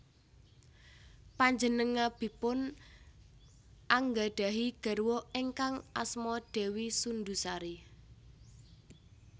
Panjenengabipun anggadhahi garwa ingkang asma Dewi Sundusari